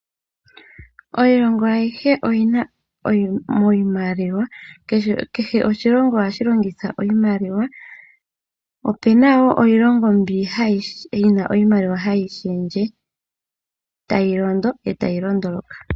Iilongo ayihe oyina iimaliwa. Kehe oshilongo oha shi longitha iimaliwa. Opu na wo iilongo mbyo yi na iimaliwa ha yi shendje, ta yi londo yo ta yi londuluka.